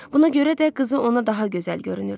Buna görə də qızı ona daha gözəl görünürdü.